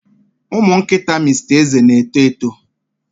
Ụmụ nkịta Mr Eze na-eto eto.